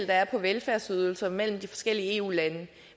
der er på velfærdsydelser mellem de forskellige eu lande